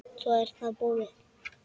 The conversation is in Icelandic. Svo er það búið.